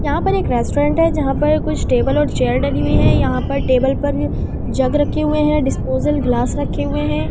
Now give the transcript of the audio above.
यहां पर एक रेस्टोरेंट है जहां पर कुछ टेबल और चेयर डबी हुए हैं यहां पर टेबल पर जग रखे हुए हैं डिस्पोजल ग्लास रखे हुए हैं।